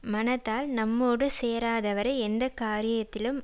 மனத்தால் நம்மோடு சேராதவரை எந்த காரியத்திலும்